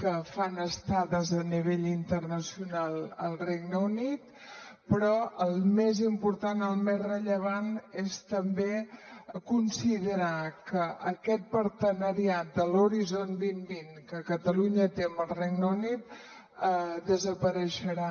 que fan estades a nivell internacional al regne unit però el més important el més rellevant és també considerar que aquest partenariat de l’horizon dos mil vint que catalunya té amb el regne unit desapareixerà